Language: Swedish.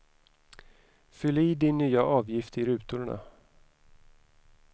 Fyll i din nya avgift i rutorna.